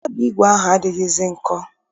Mkpabi ígwè ahụ adịghịzi nkọ